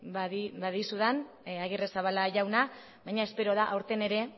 badizudan agirrezabala jauna baina espero da aurten ere